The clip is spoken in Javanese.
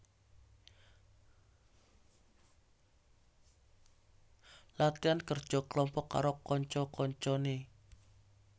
Latihan kerja kelompok karo kanca kancane